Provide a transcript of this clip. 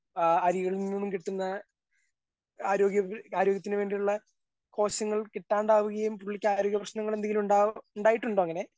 ആ അരിയിൽ നിന്നും കിട്ടുന്ന ആരോഗ്യ ആരോഗ്യത്തിന് വേണ്ടിയുള്ള പോഷങ്ങൾ കിട്ടാണ്ടാവുകയും പുള്ളിക്കാരോഗ്യ പ്രശ്നങ്ങളെന്തെങ്കിലും ഇണ്ടാവാ ഇണ്ടായിട്ടുണ്ടോ അങ്ങനെ.